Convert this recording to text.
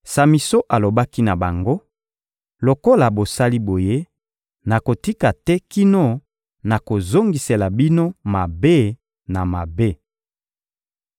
Samison alobaki na bango: «Lokola bosali boye, nakotika te kino nakozongisela bino mabe na mabe.»